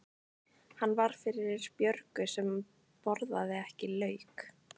Hann var fyrir Björgu sem borðaði ekki lauk.